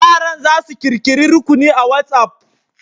Yaran za su ƙirƙiri rukuni a WatsApp.